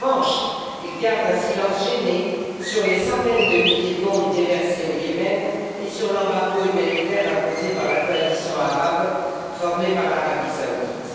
En revanche, ils gardent un silence gêné sur les centaines de milliers de bombes déversées au Yémen et sur l'embargo humanitaire imposé par la coalition arabe formée par l'Arabie saoudite.